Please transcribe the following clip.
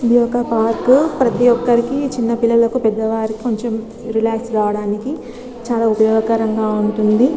ఇది వక పార్క్ ఉనది ప్రతి వకరికి చిన్న వాలకి పేద వకలకి రిలాక్స్ అవడానికి ఉనది ఇక్కడ వలకు ఇక్కడా